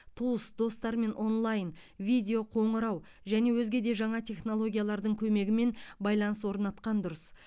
туыс достармен онлайн видео қоңырау және өзге де жаңа технологиялардың көмегімен байланыс орнатқан дұрыс